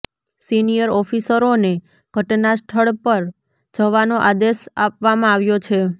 senior ઓફિસરોને ઘટનાસ્થળ પર જવાનો આદેશ આપવામાં આવ્યો છે